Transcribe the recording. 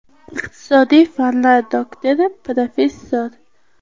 Iqtisodiy fanlar doktori, professor.